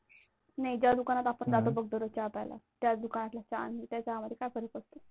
नाही त्या दुकानात आपण जातो बघ दररोज चहा प्यायला, त्या दुकानातल्या चहा आणि या चहामध्ये काय फरक असतो?